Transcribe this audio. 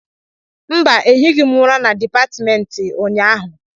Mba, ehighi m ụra na dipatịmentị ụnyaahụ.